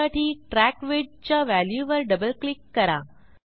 त्यासाठी ट्रॅक Widthच्या व्हॅल्यूवर डबल क्लिक करा